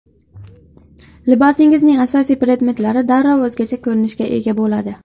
Libosingizning asosiy predmetlari darrov o‘zgacha ko‘rinishga ega bo‘ladi.